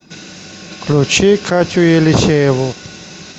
включи катю елисееву